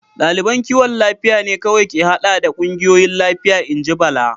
Daliban kiwon lafiya ne kawai ke hade da kungiyoyin lafiya, in ji Bala.